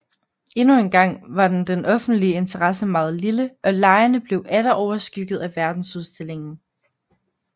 Endnu en gang var den offentlige interesse meget lille og legene blev atter overskygget af verdensudstillingen